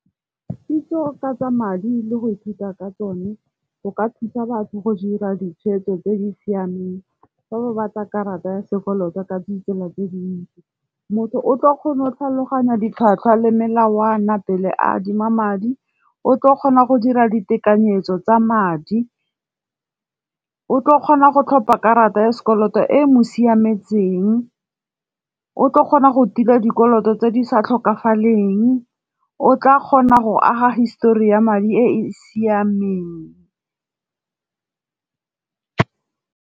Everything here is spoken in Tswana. Kitso ka tsa madi le go ithuta ka tsone go ka thusa batho go dira ditshwetso tse di siameng, fa ba batla karata ya sekoloto ka ditsela tse dintsi. Motho o tlo kgona go tlhaloganya ditlhwatlhwa le melao a na pele a adima madi, o tlo kgona go dira ditekanyetso tsa madi, o tlo kgona go tlhopa karata ya sekoloto e mo siametseng, o tlo kgona go tila dikoloto tse di sa tlhokagaleng, o tla kgona go aga histori ya madi e e siameng.